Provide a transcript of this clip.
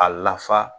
A lafa